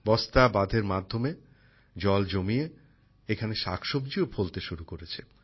বস্তা বাঁধের মাধ্যমে জল জমিয়ে এখানে শাক সবজিও ফলতে শুরু করেছে